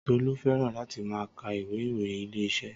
Tọlú fẹ́ràn láti máa ka ìwé ìròyìn Ilé-iṣẹ́